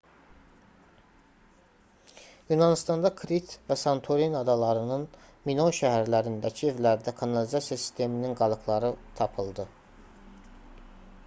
yunanıstanda krit və santorini adalarının minoy şəhərlərindəki evlərdə kanalizasiya sisteminin qalıqları tapıldı